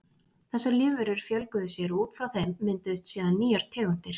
Þessar lífverur fjölguðu sér og út frá þeim mynduðust síðan nýjar tegundir.